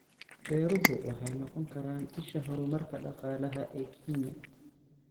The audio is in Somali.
Beeruhu waxay noqon karaan isha horumarka dhaqaalaha ee Kenya.